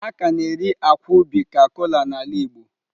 A ka na-eri akwa ubi ka kola n'ala Igbo.